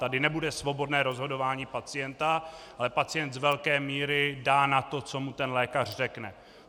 Tady nebude svobodné rozhodování pacienta, ale pacient z velké míry dá na to, co mu ten lékař řekne.